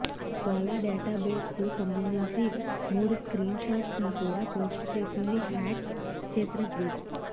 Ola database కు సంబందించి మూడు స్క్రీన్ షాట్స్ ను కూడా పోస్ట్ చేసింది హ్యాక్ చేసిన గ్రూప్